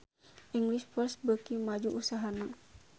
English First beuki maju usahana